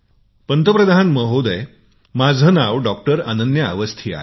प्रधानमंत्रीजी माझे नाव डॉक्टर अन्यन्या अवस्थी आहे